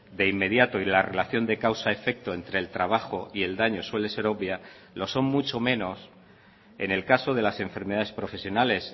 de inmediato y la relación de causa efecto entre el trabajo y el daño suele ser obvia lo son mucho menos en el caso de las enfermedades profesionales